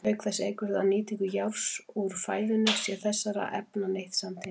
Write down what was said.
Auk þess eykur það nýtingu járns úr fæðunni sé þessara efna neytt samtímis.